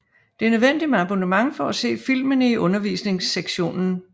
Det er nødvendigt med abonnement for at se filmene i undervisningssektionen